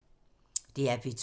DR P2